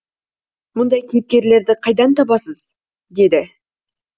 мұндай кейіпкерлерді қайдан табасыз деді